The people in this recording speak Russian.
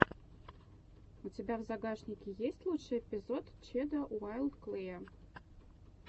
у тебя в загашнике есть лучший эпизод чеда уайлд клэя